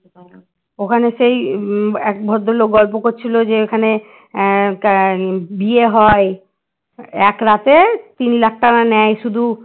ওখানে সেই উম এক ভদ্রলোক গল্প করছিল যে এখানে আহ আহ বিয়ে হয় এক রাতে তিন lakh টাকা নেয় শুধু